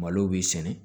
Malo b'i sɛnɛ